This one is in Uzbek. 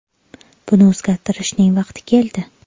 Buni o‘zgartirishning vaqti keldi.